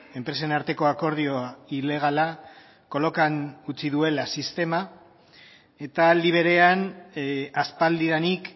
enpresen arteko akordioa ilegala kolokan utzi duela sistema eta aldi berean aspaldidanik